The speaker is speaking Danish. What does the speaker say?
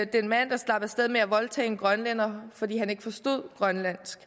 den mand der slap af sted med at voldtage en grønlænder fordi han ikke forstod grønlandsk